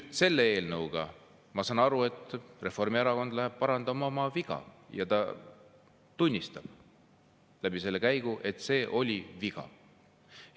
Selle eelnõuga, ma saan aru, läheb Reformierakond parandama oma viga, ja selle käiguga ta tunnistab, et see oli viga.